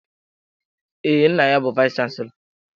Ee, nna ya bu vayis chansilọ.